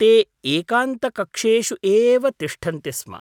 ते एकान्तकक्षेषु एव तिष्ठन्ति स्म।